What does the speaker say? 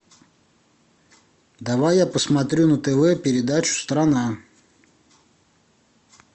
давай я посмотрю на тв передачу страна